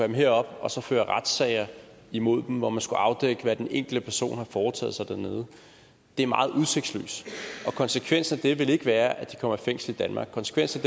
dem herop og så føre retssager imod dem hvor man skulle afdække hvad den enkelte person har foretaget sig dernede er meget udsigtsløst og konsekvensen det vil ikke være at de kommer i fængsel i danmark konsekvensen